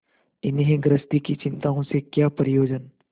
इन्हें गृहस्थी की चिंताओं से क्या प्रयोजन